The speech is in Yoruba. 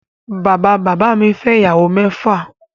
Bàbá bàbá mi fẹ́ ìyàwó mẹ́fà